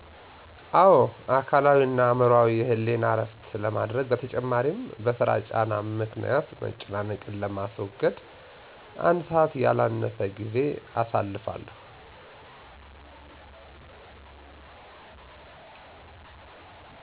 አወ። አካላዊ እና አዕምሮአዊ የህሌና እረፍት ለማድረግ በተጨማሪም በስራ ጫና ምክኒያት መጨናነቅ ለማስወገድ አንድ ሰዐት ያላነሰ